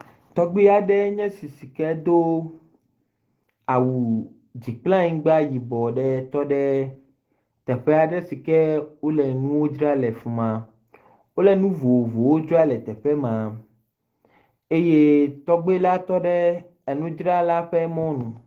Tɔgbui aɖe nye esi sike do awu dzi kple anyigba yibɔ aɖe tɔ ɖe teƒe aɖe si ke wo le nu dzra le afima. Wole nu vovovowo dzra le teƒe ma eye tɔgbui la tɔ ɖe enudzrala ƒe mɔ nu.